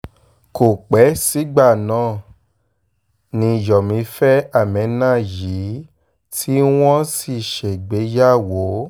kò pẹ́ sígbà náà ni yomi fẹ́ ameenah yìí tí wọ́n sì ṣègbéyàwó